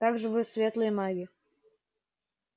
так вы же светлые маги